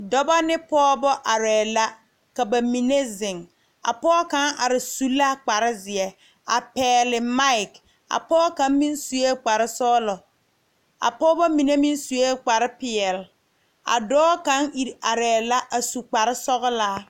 Dɔbɔ ne pɔɔbɔ arɛɛ la ka ba mine zeŋ a pɔɔ kaŋ are su la kparezeɛ a pɛɛli mike a pɔɔ kaŋ meŋ suee kparesɔglɔ a pɔɔbɔ mine meŋ suee kparepeɛle a dɔɔ kaŋ iri arɛɛ la su kparesɔglaa.